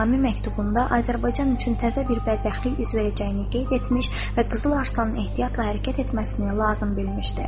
Nizami məktubunda Azərbaycan üçün təzə bir bədbəxtlik üz verəcəyini qeyd etmiş və Qızıl Arslanın ehtiyatla hərəkət etməsini lazım bilmişdi.